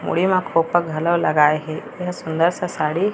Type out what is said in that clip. मुड़ी मा खोपा घेलो लगाए हे यह सुन्दर सा साड़ी--